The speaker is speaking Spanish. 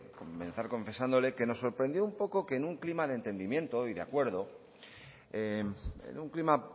comenzar confesándole que nos sorprendió un poco que en un clima de entendimiento y de acuerdo en un clima